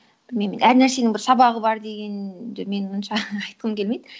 білмеймін әр нәрсенің бір сабағы бар дегенді мен онша айтқым келмейді